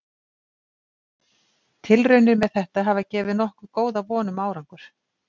Tilraunir með þetta hafa gefið nokkuð góða von um árangur.